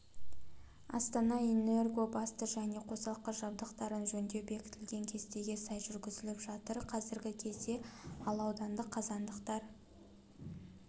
астана-энерго басты және қосалқы жабдықтарын жөндеу бекітілген кестеге сай жүргізіліп жатыр қазіргі кезде ал аудандық қазандықтар